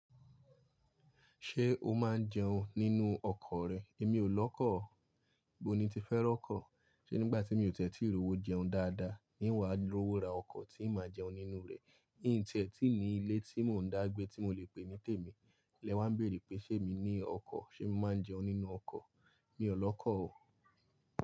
Ṣé o máa ń jẹun nínú ọkọ̀ rẹ? Èmi ò lọ́kọ̀ ọ́. Bó ni ń ti fẹ́ rọ́kọ̀? Ṣé nígbà tí mi ò tẹ̀́tí ìró wo jẹun dáadáa, n wá rówó ra ọkọ̀ tí màá jẹun nínú rẹ̀? Híǹ tí ẹ tí ni ilé tí mò ń dá gbé tí mo lè pè ní tèmi, lẹ wá ń bèèrè pé ṣé emi ní ọkọ̀, ṣé mo máa ń jẹun nínú ọkọ̀. Mi ò lọ́kọ̀ ọ́.